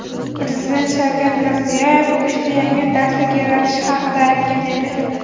Prezident Shavkat Mirziyoyev uchta yangi darslik yaratish haqida aytgan edi.